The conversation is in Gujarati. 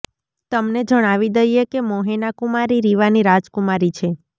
તમને જણાવી દઈએ કે મોહેના કુમારી રીવાની રાજકુમારી છે